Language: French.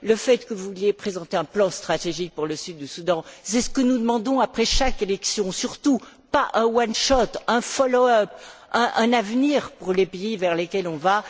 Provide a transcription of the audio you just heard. Le fait que vous vouliez présenter un plan stratégique pour le Sud du Soudan est ce que nous demandons après chaque élection, surtout pas de one shot un follow up un avenir pour les pays vers lesquels on va.